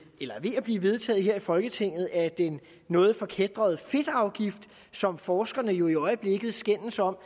at blive vedtaget her i folketinget er den noget forkætrede fedtafgift som forskerne jo i øjeblikket skændes om